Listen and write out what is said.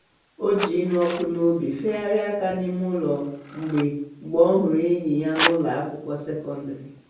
o ji ịnụ ọkụ n'obi feharịa aka n'ime ụlọ mgbe mgbe ọ hụrụ enyi ya n'ụlọ akwụkwọ sekondịrị.